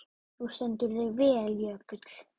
Þú stendur þig vel, Jökull!